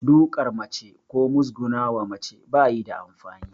Duƙar mace ko mugusguna wa mace ba yi da amfani